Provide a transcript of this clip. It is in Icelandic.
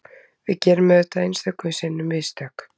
Við gerum auðvitað einstöku sinnum mistök